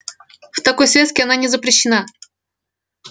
в такой связке она не запрещена